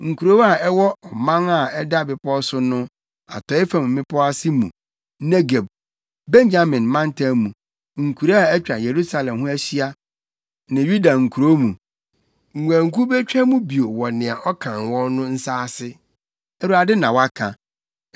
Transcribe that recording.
Nkurow a ɛwɔ ɔman a ɛda bepɔw so no atɔe fam mmepɔw ase mu, Negeb, Benyamin mantam mu, nkuraa a atwa Yerusalem ho ahyia ne Yuda nkurow mu, nguankuw betwa mu bio wɔ nea ɔkan wɔn no nsa ase.’ Awurade, na waka.